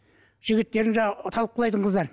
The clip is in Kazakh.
жігіттерің жаңағы талып құлайтын қыздар